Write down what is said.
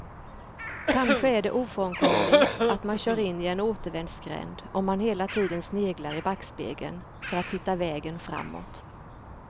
Kanske är det ofrånkomligt att man kör in i en återvändsgränd om man hela tiden sneglar i backspegeln för att hitta vägen framåt.